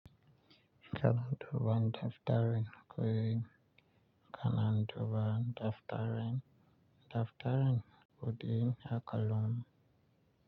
Kalanduba daftarin koyo. Kalanduba daftarin. Daftarin kuɗin akullun.